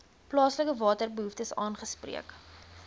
plaaslike waterbehoeftes aangespreek